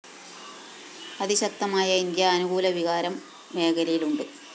അതിശക്തമായ ഇന്ത്യാ അനുകൂല വികാരം മേഖലയിലുണ്ട്